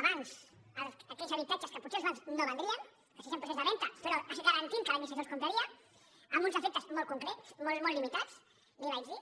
a bancs aquells habitatges que potser els bancs no vendrien que estiguessin en procés de venda però garantint que l’administració els compraria amb uns efectes molt concrets molt limitats li ho vaig dir